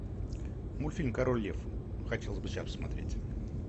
мультфильм король лев хотелось бы сейчас посмотреть